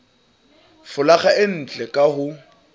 folaga e ntle ka ho